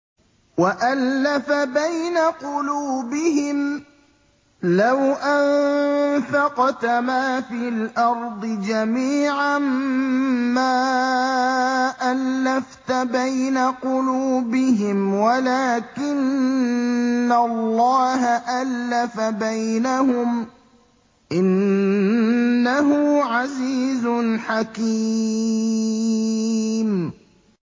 وَأَلَّفَ بَيْنَ قُلُوبِهِمْ ۚ لَوْ أَنفَقْتَ مَا فِي الْأَرْضِ جَمِيعًا مَّا أَلَّفْتَ بَيْنَ قُلُوبِهِمْ وَلَٰكِنَّ اللَّهَ أَلَّفَ بَيْنَهُمْ ۚ إِنَّهُ عَزِيزٌ حَكِيمٌ